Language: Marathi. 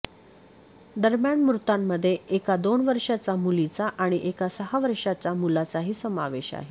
दरम्यान मृतांमध्ये एका दोन वर्षांच्या मुलीचा आणि एका सहा वर्षांच्या मुलाचाही समावेश आहे